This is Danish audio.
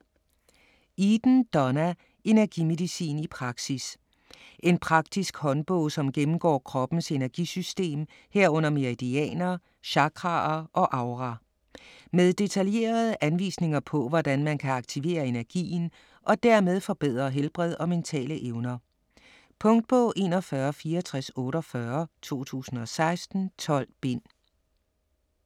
Eden, Donna: Energimedicin i praksis En praktisk håndbog som gennemgår kroppens energisystem, herunder meridianer, chakraer og aura. Med detaljerede anvisninger på hvordan man kan aktivere energien og dermed forbedre helbred og mentale evner. Punktbog 416448 2016. 12 bind.